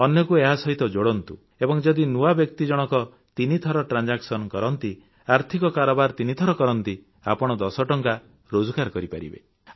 ଅନ୍ୟକୁ ଏହାସହିତ ଯୋଡ଼ନ୍ତୁ ଏବଂ ଯଦି ନୂଆ ବ୍ୟକ୍ତି ଜଣକ ତିନିଥର ଆର୍ଥିକ କାରବାର କରନ୍ତି ଆପଣ ୧୦ ଟଙ୍କା ରୋଜଗାର କରିପାରିବେ